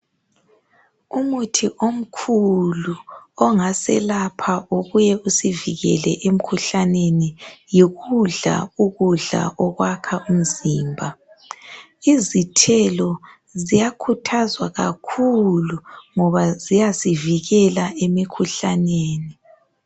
Umuthi omkhulu ongaselapha ubuye usivikele emkhuhlaneni yikudla ukudla okwakha umzimba izithelo ziyakhuthazwa kakhulu ngoba ziyasivikela emikhuhlaneni.